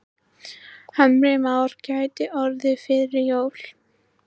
Heimir Már: Gæti orðið fyrir jól?